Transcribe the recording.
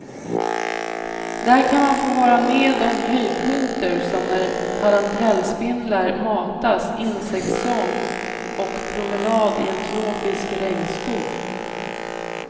Där kan man få vara med om höjdpunkter som när tarantelspindlar matas, insektssång och promenad i en tropisk regnskog.